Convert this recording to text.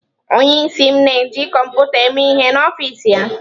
Onyeisi m na-eji kọmputa eme ihe n'ọfịs ya.